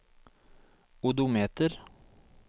odometer